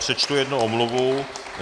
Přečtu jednu omluvu.